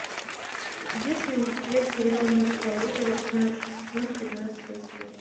есть ли у тебя сериал мертвое озеро пятнадцатый сезон пятнадцатая серия